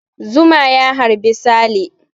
Zuma ya harbi Sale.